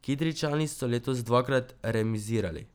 Kidričani so letos dvakrat remizirali.